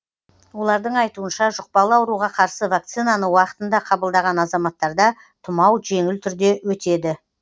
олардың айтуынша жұқпалы ауруға қарсы вакцинаны уақытында қабылдаған азаматтарда тұмау жеңіл түрде өтеді